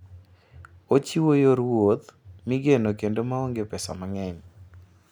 Ochiwo yor wuoth migeno kendo ma onge pesa mang'eny.